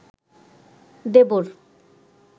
দেবর